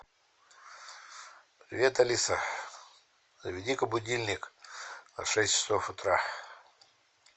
привет алиса заведи ка будильник на шесть часов утра